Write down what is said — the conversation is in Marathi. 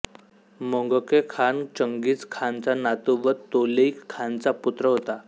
मोंगके खान चंगीझ खानचा नातू व तोलुई खानचा पुत्र होता